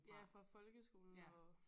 Ja fra folkskolen og